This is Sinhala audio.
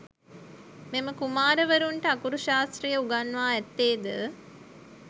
මෙම කුමාරවරුන්ට අකුරු ශාස්ත්‍රය උගන්වා ඇත්තේද